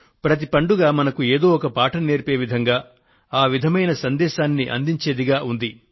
ప్రతి పండుగ మనకు ఏదో ఒక పాఠం నేర్పే విధంగా ఆ విధమైన సందేశాన్ని అందించేదిగా ఉంది